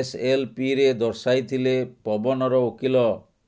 ଏସଏଲପିରେ ଦର୍ଶାଇଥିଲେ ପବନର ଓକିଲ